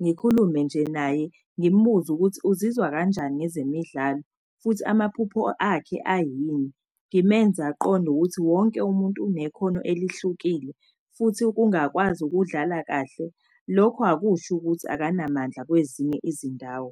ngikhulume nje naye. Ngimbuze ukuthi uzizwa kanjani ngezemidlalo futhi amaphupho akhe ayini. Ngimenze aqonde ukuthi wonke umuntu unekhono elihlukile futhi ukungakwazi ukudlala kahle lokhu akusho ukuthi akanamandla kwezinye izindawo.